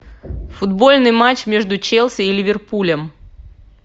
футбольный матч между челси и ливерпулем